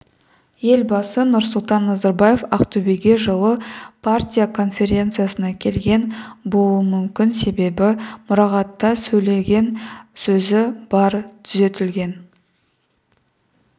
елбасы нұрсұлтан назарбаев ақтөбеге жылы партия конференциясына келген болуы мүмкін себебі мұрағатта сөйлеген сөзі бар түзетілген